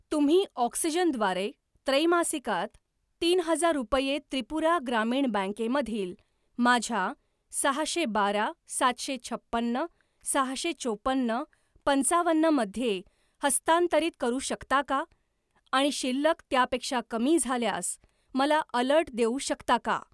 तुम्ही ऑक्सिजन द्वारे त्रैमासिकात तीन हजार रुपये त्रिपुरा ग्रामीण बँके मधील माझ्या सहाशे बारा सातशे छप्पन्न सहाशे चोपन्न पंचावन्न मध्ये हस्तांतरित करू शकता का आणि शिल्लक त्यापेक्षा कमी झाल्यास मला अलर्ट देऊ शकता का?